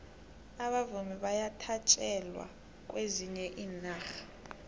abavumi bayathatjelwa kwezinye iinarha